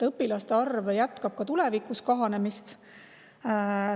Õpilaste arv jätkab ka tulevikus kahanemist.